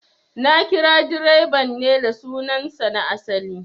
Na kira direban ne da sunan sa na asali